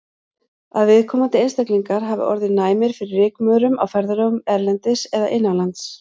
Að viðkomandi einstaklingar hafi orðið næmir fyrir rykmaurum á ferðalögum erlendis eða innanlands.